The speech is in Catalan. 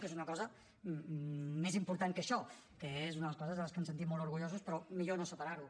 que és una cosa més important que això que és una de les coses de les que ens sentim molt orgullosos però millor no separar ho